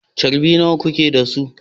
Charbi nawa kuke da su?